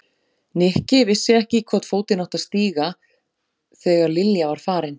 Nikki vissi ekki í hvorn fótinn hann átti að stíga þegar Lilja var farin.